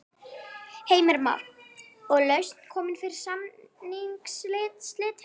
Heimir Már: Og lausn komin fyrir samningsslitin?